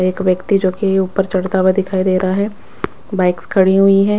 एक व्यक्ति जो कि ऊपर चढ़ता हुआ दिखाई दे रहा है बाइक्स खड़ी हुई हैं।